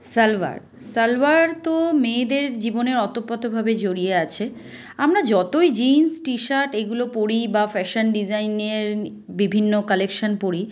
সালোয়ার তো মেয়েদের জীবনের অতপ্রত ভাবে জড়িয়ে আছে আমরা যতই জিন্স টি শার্ট এগুলো পড়ি বা ফ্যাশন ডিজাইন এর বিভিন্ন কালেকশন পরি--